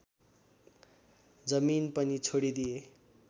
जमिन पनि छोडिदिए